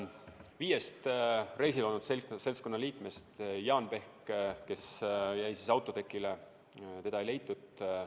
Viiest reisil olnud seltskonna liikmest jäi Jaan Pehk autotekile, teda ei leitud.